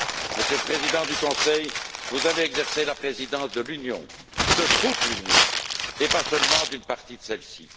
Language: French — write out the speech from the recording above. Monsieur le Président du Conseil, vous allez exercer la présidence de l'Union, de toute l'Union, et pas seulement d'une partie de celle ci.